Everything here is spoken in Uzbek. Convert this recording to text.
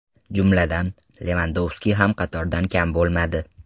Jumladan, Levandovski ham qatordan kam bo‘lmadi.